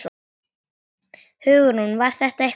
Hugrún: Var þetta eitthvað erfitt?